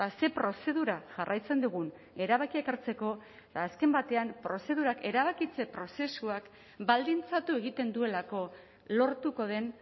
ze prozedura jarraitzen dugun erabakiak hartzeko eta azken batean prozedurak erabakitze prozesuak baldintzatu egiten duelako lortuko den